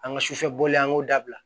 An ka sufɛboli ye an k'o dabila